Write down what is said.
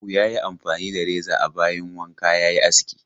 Abu ya yi amfani da reza a bayin wanka ya yi aski.